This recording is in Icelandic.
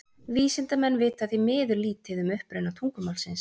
Vísindamenn vita því miður lítið um uppruna tungumálsins.